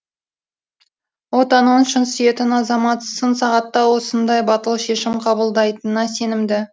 отанын шын сүйетін азамат сын сағатта осындай батыл шешім қабылдайтынына сенімді